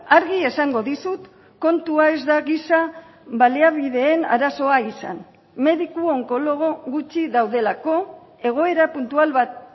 argi esango dizut kontua ez da giza baliabideen arazoa izan mediku onkologo gutxi daudelako egoera puntual bat